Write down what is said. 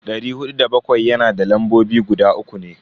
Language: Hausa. Dari hudu da bakwai yana da lambobi guda uku ne.